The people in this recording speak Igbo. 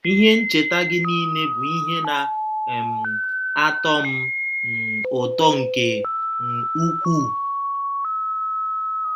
“ Ihe Ncheta Gị Nile Bụ Ihe Na um - atọ M M Ụtọ nke um Ukwuu